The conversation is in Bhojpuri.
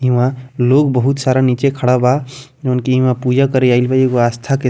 इउहा लोग बहुत सारा नीचे खड़ा बा उनकी इउमा पूजा करे आइ बा एगो आस्था के --